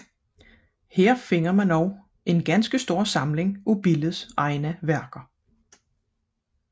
Her finder man desuden en ganske stor samling af Billes egne værker